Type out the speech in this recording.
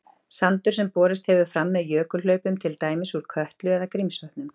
Sandur sem borist hefur fram með jökulhlaupum, til dæmis úr Kötlu eða Grímsvötnum.